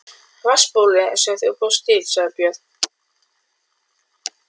Vatnsbólið sem þú bjóst til, sagði Björn.